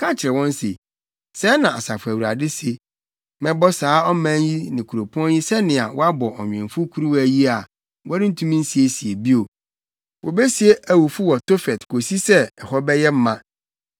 na ka kyerɛ wɔn se, ‘Sɛɛ na Asafo Awurade se: Mɛbɔ saa ɔman yi ne kuropɔn yi sɛnea wɔabɔ ɔnwemfo kuruwa yi a wɔrentumi nsiesie bio. Wobesie awufo wɔ Tofet kosi sɛ, ɛhɔ bɛyɛ ma.